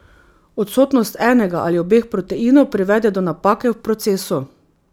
Odsotnost enega ali obeh proteinov privede do napake v procesu.